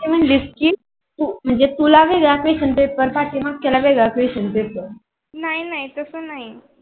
ते म्हणालेत कि म्हणजे तुला वेगळा question paper पाठीमागच्याला वेगळा question paper नाही नाही तसा नाही.